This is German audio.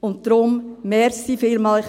Und darum: Vielen Dank.